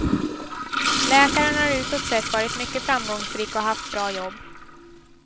Läkaren har utåt sett varit mycket framgångsrik och haft bra jobb.